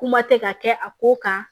Kuma tɛ ka kɛ a ko kan